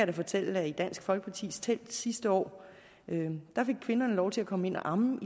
da fortælle at i dansk folkepartis telt sidste år fik kvinderne lov til at komme ind og amme